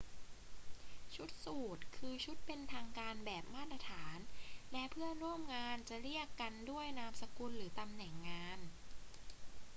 ชุดสูทคือชุดเป็นทางการแบบมาตรฐาน และเพื่อนร่วมงานจะเรียกกันด้วยนามสกุลหรือตำแหน่งงาน